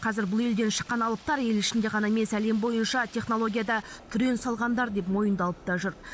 қазір бұл елден шыққан алыптар ел ішінде ғана емес әлем бойынша технологияда түрен салғандар деп мойындалып та жүр